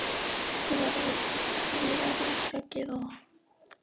Verð ég ekki að gera það?